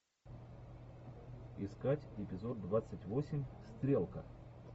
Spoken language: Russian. искать эпизод двадцать восемь стрелка